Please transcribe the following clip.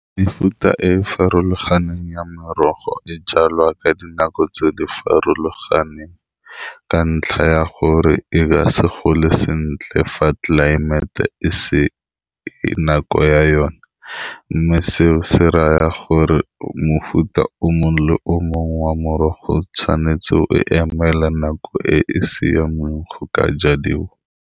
Mefuta e farologaneng ya merogo e jalwa ka dinako tse di farologaneng, ka ntlha ya gore e ka se gole sentle fa tlelaemete e se e nako ya yone, mme seo se raya gore mofuta o mongwe le o mongwe wa morogo tshwanetse o emele nako e e siameng go ka ja diwa.